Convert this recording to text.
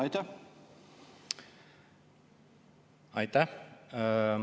Aitäh!